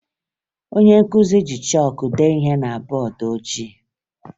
Onye nkụzi ji chọọkụ dee ihe na bọọdụ ojii